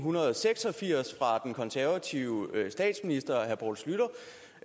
seks og firs fra den konservative statsminister